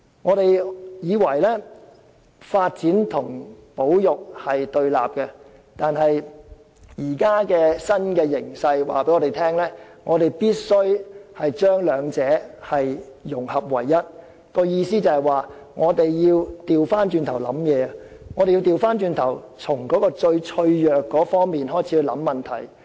我們本來以為發展和保育兩者是對立的，但現時的新形勢卻告訴我們，必須把兩者融合為一，即是要反過來思考，從最脆弱的方面開始思考問題。